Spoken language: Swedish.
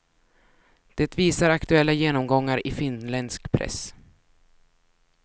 Det visar aktuella genomgångar i finländsk press.